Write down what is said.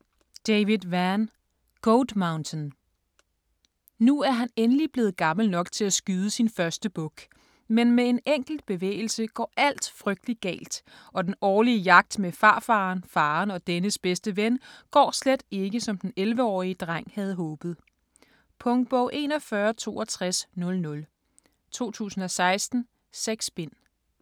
Vann, David: Goat Mountain Nu er han endelig blevet gammel nok til at skyde sin første buk, men med en enkelt bevægelse går alt frygtelig galt, og den årlige jagt med farfaren, faren og dennes bedste ven går slet ikke, som den 11-årige dreng havde håbet. Punktbog 416200 2016. 6 bind.